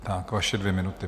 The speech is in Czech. Tak, vaše dvě minuty.